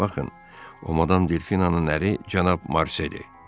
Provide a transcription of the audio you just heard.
Baxın, o Madam Delfinanın əri cənab Marseldir.